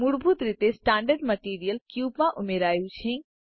મૂળભૂત રીતે standard material cube માં ઉમેરાયું છે